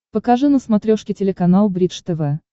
покажи на смотрешке телеканал бридж тв